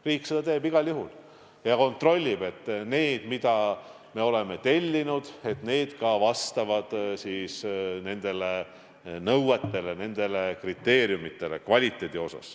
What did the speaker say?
Riik seda teeb igal juhul ja kontrollib, et kõik need maskid, mida me oleme tellinud, vastavad ka nendele kvaliteedinõuetele ja -kriteeriumidele.